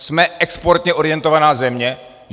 Jsme exportně orientovaná země?